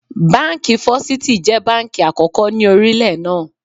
Báńkì Fọ́sítì jẹ́ báńkì àkókò ni orílẹ̀ náà.